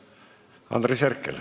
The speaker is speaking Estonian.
Andres Herkel.